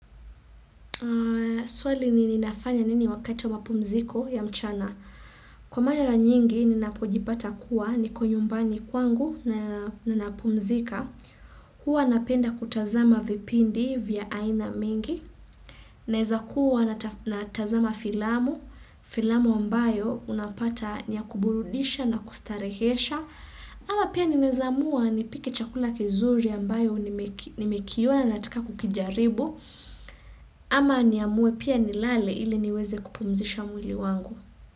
Swali ni ninafanya nini wakati wa mapumziko ya mchana. Kwa mara nyingi ni napojipata kuwa niko nyumbani kwangu na napumzika. Huwa napenda kutazama vipindi vya aina mingi naeza kuwa natazama filamu filamu ambayo unapata niya kuburudisha na kustarehesha ama pia ninezamua nipike chakula kizuri ambayo nimekiona nataka kukijaribu ama niamue pia nilale ile niweze kupumzisha mwili wangu.